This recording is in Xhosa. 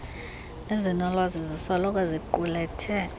ezinolwazi zisoloko ziqulethe